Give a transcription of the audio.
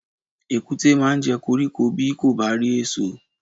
Èkúté máa jẹ koríko bí kò bá rí èsò.